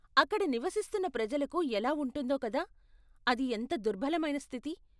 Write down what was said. అక్కడ నివసిస్తున్న ప్రజలకు ఎలా ఉంటుందో కదా, అది ఎంత దుర్బలమైన స్థితి.